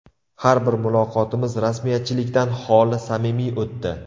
Har bir muloqotimiz rasmiyatchilikdan xoli, samimiy o‘tdi.